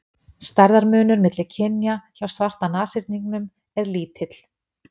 stærðarmunur milli kynja hjá svarta nashyrningnum er lítill